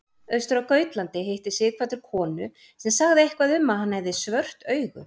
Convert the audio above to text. Austur á Gautlandi hitti Sighvatur konu sem sagði eitthvað um að hann hefði svört augu.